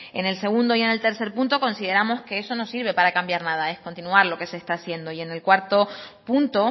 en el segundo y en el tercer punto consideramos que eso no sirve para cambiar nada es continuar lo que se está haciendo y en el cuarto punto